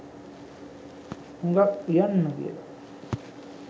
හුඟක් උයන්න කියල.